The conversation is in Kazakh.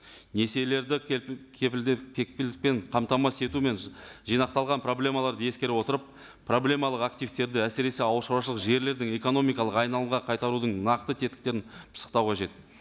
несиелерді кепілдікпен қамтамасыз ету мен жинақталған проблемаларды ескере отырып проблемалық активтерді әсіресе ауыл шаруашылық жерлердің экономикалық айналымға қайтарудың нақты тетіктерін пысықтау қажет